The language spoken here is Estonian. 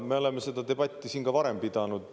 Me oleme seda debatti siin ka varem pidanud.